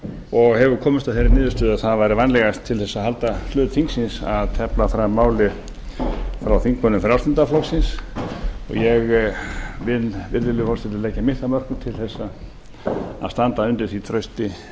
og hefur komist að þeirri niðurstöðu að það væri vænlegast til þess að halda hlut þingsins að tefla fram máli frá þingmönnum frjálslynda flokksins og ég vil virðulegi forseti leggja mitt af mörkum til þess að standa undir því trausti